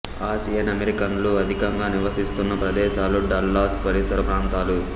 Asian అమెరికన్లు అధికంగా నివసిస్తున్న ప్రదేశాలు డల్లాస్ పరిసర ప్రాంతాలు